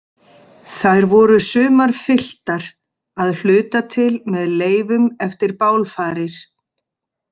Þær voru sumar fylltar, að hluta til með leifum eftir bálfarir.